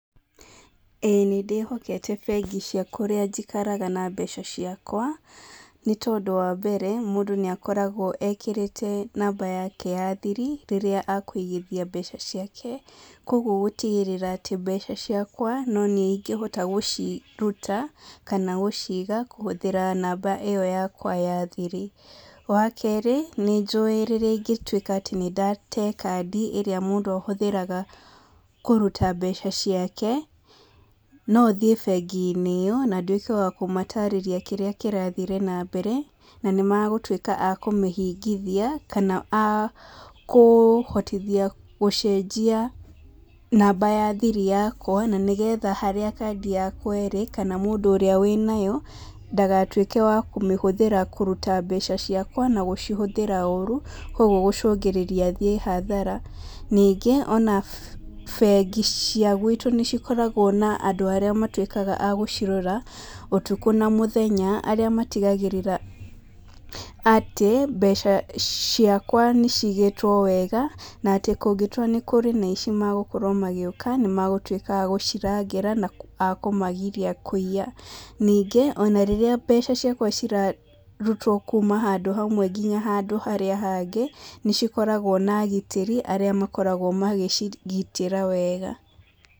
Ĩĩ nĩ ndĩhokete bengi cia kũrĩa njikaraga na mbeca ciakwa, nĩ tondũ ũndũ wa mbere, mũndũ nĩ akoragwo ekĩrĩte namba yake ya thiri, rĩrĩa akũigithia mbeca ciake, kwoguo gũtigĩrira atĩ mbeca ciakwa noniĩ ĩngĩhote gũciruta, kana gũciga, kũhũthĩra namba ĩyo yakwa ya thiri, wa kerĩ, nĩ njũĩ rĩrĩa ingĩtuĩka atĩ nĩ ndate kandi ĩria mũndũ ahũthagĩra kũruta mbeca ciake, nothiĩ bengi-inĩ ĩyo, na nduĩke wa kũmatarĩria kĩrĩa kĩrathire na mbere, na nĩ magũtuĩka a kũmĩhingithia kana a kũhotithia gũcenjia namba ya thiri yakwa, na nĩgetha harĩa kandi yakwa ĩrĩ, kana mũndũ ũrĩa wĩnayo, ndagatuĩke wa kũmĩhũthĩra kũruta mbeca ciakwa, na gũcihũthĩra ũru, kwoguo gũcũngĩrĩria thiĩ hathara, ningĩ ona bengi cia guitũ nĩ cikoragwo na andũ arĩa matuĩkaga agũcirora, ũtukũ na mũthenya, arĩa matigagĩrĩra atĩ mbeca ciakwa nĩ cigĩtwo wega, na atĩ kũngĩtwa nĩ kũrĩ na aici magũkorwo magĩũka, nĩ magũtuĩka a gũcirangĩra na akũmagiria kũiya, ningĩ ona rĩrĩa mbeca ciakwa cirarutwo kuuma handũ hamwe nginya handũ harĩa hangĩ, nĩ cikoragwo na agitĩri arĩa makoragwo magĩcigitĩra wega.